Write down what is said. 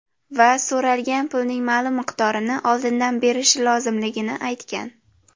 Va so‘ralgan pulning ma’lum miqdorini oldindan berishi lozimligini aytgan.